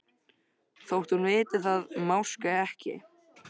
Þótt hún viti það máske ekki.